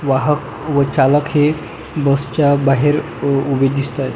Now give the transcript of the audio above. वाहक व चालक हे बसच्या बाहेर उभे दिसतात.